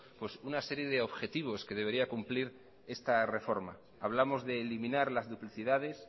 una serie de objetivos que debería cumplir esta reforma hablamos de eliminar las duplicidades